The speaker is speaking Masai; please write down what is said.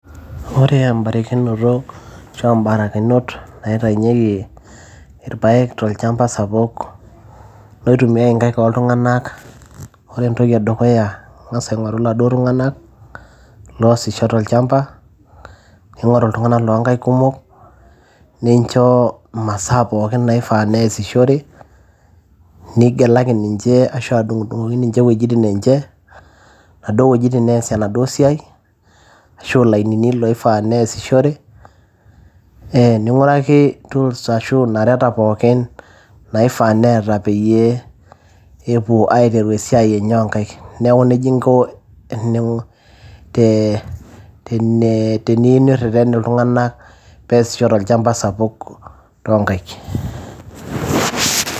Ore embarikinoto ashua imbarakinot naitainyieki irpayek tolchamba sapuk loitumiay inkaik ooltung'anak ore entoki edukuya ing'as aing'oru iladuo tung'anak loosisho tolchamba ning'oru iltung'anak loonkaik kumok nincho imasaa pookin naifaa neesishore nigelaki ninche ashu adung'udung'oki ninche iwuejitin enche naduo wuejitin neesie enaduo siai ashu ilainini loifaa neesishore ee ning'uraki tools ashu inareta pookin naifaa neeta peyie epuo aiteru esiai enye oonkaik neeku nejia inko tenee, teniyieu nirreten iltung'anak peesisho tolchamba sapuk toonkaik.